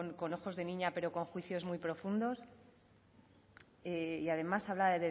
con ojos de niña pero con juicios muy profundos y además habla